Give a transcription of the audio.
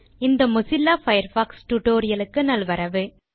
இந்த Mozilla Firefox tutorial க்கு நல்வரவு